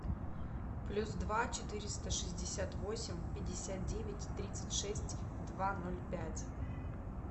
плюс два четыреста шестьдесят восемь пятьдесят девять тридцать шесть два ноль пять